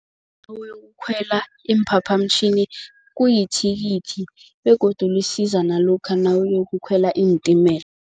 iimphaphamtjhini kuyithikithi begodu lisiza nalokha nawuyokukhwela iintimela.